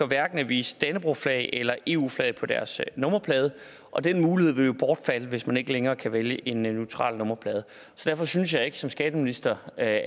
hverken at vise dannebrogsflag eller eu flag på deres nummerplade og den mulighed vil jo bortfalde hvis man ikke længere kan vælge en neutral nummerplade derfor synes jeg ikke som skatteminister at